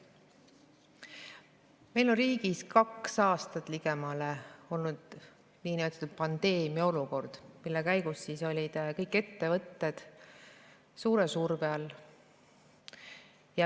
Meil on riigis ligemale kaks aastat olnud niinimetatud pandeemiaolukord, mille käigus on kõik ettevõtted olnud suure surve all.